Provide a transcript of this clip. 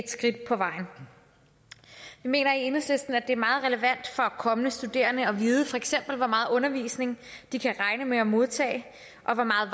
skridt på vejen vi mener i enhedslisten det er meget relevant for kommende studerende at vide for eksempel hvor meget undervisning de kan regne med at modtage og hvor meget